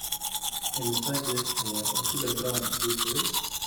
Immisa jeer ayaa Otile Brown guursaday?